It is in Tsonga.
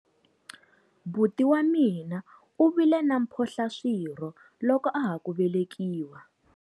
Buti wa mina u vile na mphohlaswirho loko a ha ku velekiwa.